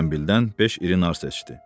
Zəmbildən beş iri nar seçdi.